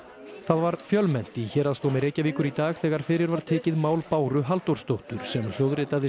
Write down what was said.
var fjölmennt í Héraðsdómi Reykjavíkur í dag þegar fyrir var tekið mál Báru Halldórsdóttur sem hljóðritaði